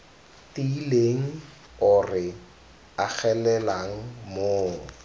tiileng o re agelelang mo